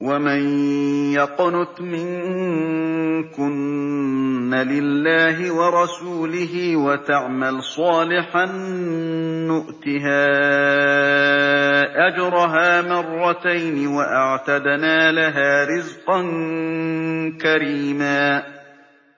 ۞ وَمَن يَقْنُتْ مِنكُنَّ لِلَّهِ وَرَسُولِهِ وَتَعْمَلْ صَالِحًا نُّؤْتِهَا أَجْرَهَا مَرَّتَيْنِ وَأَعْتَدْنَا لَهَا رِزْقًا كَرِيمًا